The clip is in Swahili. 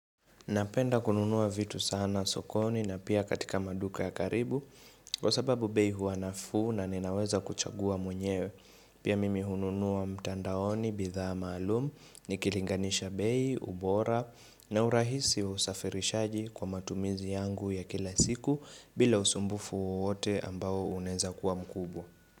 Napenda kununua vitu sana sokoni na pia katika maduka ya karibu Kwa sababu bei huwa nafuu na ninaweza kuchagua mwenyewe Pia mimi hununua mtandaoni, bidhaa maalum, nikilinganisha bei, ubora na urahisi wa usafirishaji kwa matumizi yangu ya kila siku bila usumbufu wowote ambao unaeza kuwa mkubwa.